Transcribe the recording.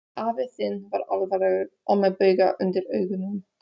Afi þinn var alvarlegur og með bauga undir augunum.